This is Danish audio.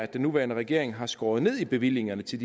den nuværende regering har skåret ned i bevillingerne til